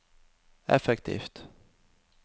effektivt